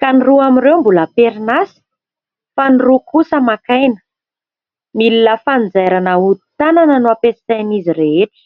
ka ny roa amin'ireo mbola am-perinasa, ny roa kosa maka aina. Milina fanjairana ahodin-tanana no ampiasain'izy rehetra.